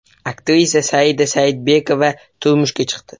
Aktrisa Saida Saidbekova turmushga chiqdi .